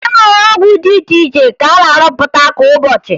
E nwere ọgwụ dị iche iche a na-arụpụta kwa ụbọchị